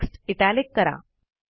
text italic करा